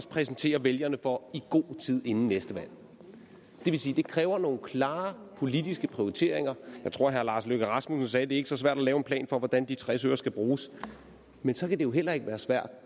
præsentere vælgerne for i god tid inden næste valg det vil sige det kræver nogle klare politiske prioriteringer jeg tror herre lars løkke rasmussen sagde at det ikke er så svært at lave en plan for hvordan de tres øre skal bruges men så kan det jo heller ikke være svært